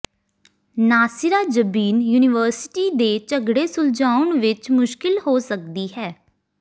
Nasira Jabeen university ਦੇ ਝਗੜੇ ਸੁਲਝਾਉਣ ਵਿੱਚ ਮੁਸ਼ਕਿਲ ਹੋ ਸਕਦੀ ਹੈ